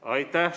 Aitäh!